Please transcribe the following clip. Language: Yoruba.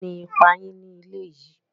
Kíni ípà yín ní ilẹ̀ yì?